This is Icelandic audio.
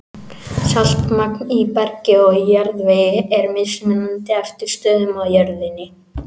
Saltmagn í bergi og jarðvegi er mismunandi eftir stöðum á jörðinni.